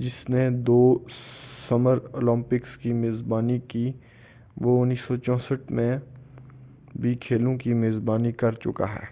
جس نے دو سمراولمپکس کی میزبانی کی وہ 1964ء میں بھی کھیلوں کی میزبانی کرچُکا ہے